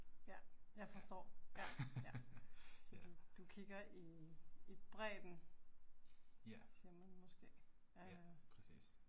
Ja, jeg forstår, ja, ja. Så du du kigger i i bredden siger man måske øh